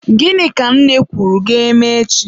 Gịnị ka nne kwuru ga-eme echi?